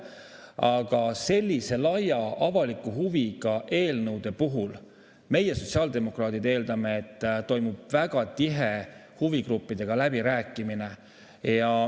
Aga sellise laia avaliku huviga eelnõude puhul meie, sotsiaaldemokraadid, eeldame, et toimub väga tihe huvigruppidega läbirääkimine.